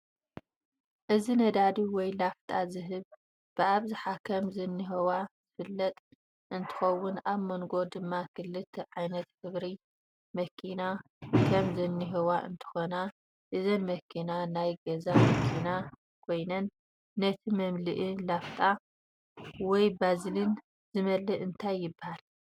እዚ ነዳዲ ወይ ላፍጣ ዝህብ ብኣብዛሓ ከም ዝንህዋ ዝፍለጥ እንትከውን ኣብ መንጎ ድማ ክልተ ዓይነት ሕብሪ መኪና ከም ዝንህዋ እንትኮና እዘን መክና ናይ ገዛ መኪና ኮይነን እቲ መመልእ ላፍጣ ወይ ባዝልን ዝመልእ እንታይ ይብሃል?